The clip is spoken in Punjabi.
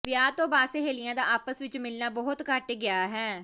ਵਿਆਹ ਤੋਂ ਬਾਅਦ ਸਹੇਲੀਆਂ ਦਾ ਆਪਸ ਵਿੱਚ ਮਿਲਣਾ ਬਹੁਤ ਘਟ ਗਿਆ ਹੈ